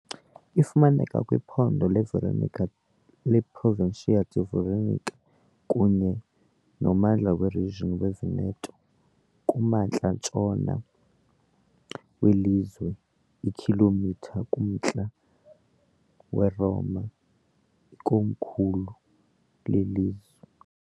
Ifumaneka kwiphondo leVeronica leProvincia di Veronica kunye nommandla weRegion Veneto, kumantla ntshona welizwe, iikhilomitha kumntla weRoma, ikomkhulu lelizwe.